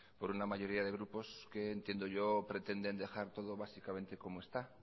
por una mayoría de grupos que entiendo yo que pretenden dejar todo básicamente como está